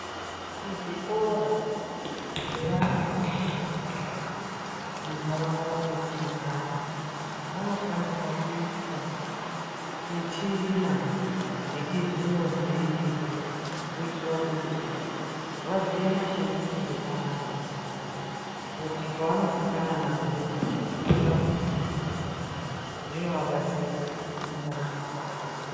Kuzvikora zvevana vari mundaraunda mwetinogara munofanirwa kuiswa michina yechizvino zvino kuitira kuti vaziye mashandisirwe ayo kuti pavanosangana nayo vasazoshamisika. Zvinovabatsira mundaramo dzavo .